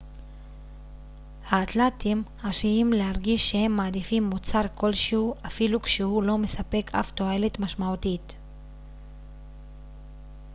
האתלטים עשויים להרגיש שהם מעדיפים מוצר כלשהו אפילו כשהוא לא מספק אף תועלת משמעותית